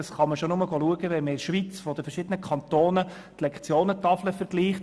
Das sieht man auch, wenn man die Lektionentafeln der verschiedenen Kantone vergleicht.